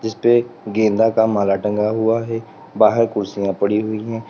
इस पे गेंदा का माला टंगा हुआ है बाहर कुर्सियां पड़ी हुई हैं।